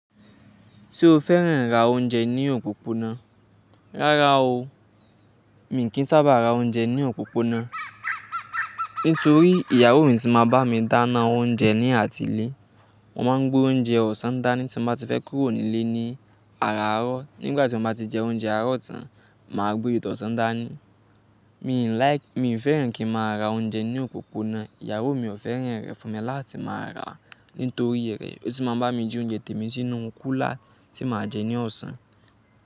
Ṣé o fẹ́ràn ra oúnjẹ ní òpópónà? Rárá o, mi kì í sábà ra oúnjẹ ní òpópónà nítorí ìyàwó mi ti máa bá mi dáná oúnjẹ ní àti ilé. Mo máa ń gbé oúnjẹ ọ̀sán dání tí mo bá ti fẹ́ kúrò ní ilé ní àárọ̀. Nígbà tí mo bá ti jẹ oúnjẹ àárọ̀ tán, màá gbé tìtọ̀sán dání. Mi ò fẹ́ràn kí n máa ra oúnjẹ ní òpópónà, ìyàwó mi ò fẹ́ràn rẹ̀ fún mi láti máa ràá nítorí rẹ̀. Ó ti máa ń bá mi di oúnjẹ tèmi sínú kúlà tí màá jẹ ní ọ̀sán.